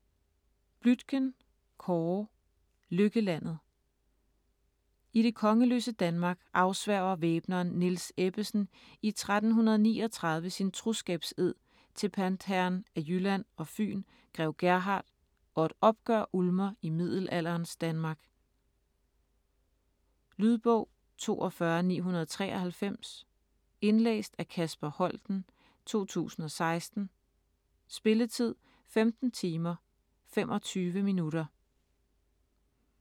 Bluitgen, Kåre: Lykkelandet I det kongeløse Danmark afsværger væbneren Niels Ebbesen i 1339 sin troskabsed til pantherren af Jylland og Fyn grev Gerhard, og et oprør ulmer i middelalderens Danmark. Lydbog 42993 Indlæst af Kasper Holten, 2016. Spilletid: 15 timer, 25 minutter.